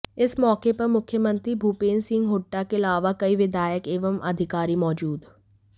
इस मौके पर मुख्यमंत्री भूपेंद्र सिंह हुड्डा के अलावा कई विधायक एवं अधिकारी मौजूद